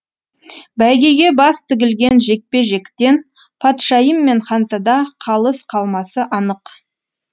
бәйгеге бас тігілген жекпе жектен патшайым мен ханзада қалыс қалмасы анық